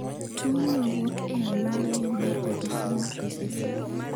Tuo no wuok e anyuola e yo mar autosomal recessive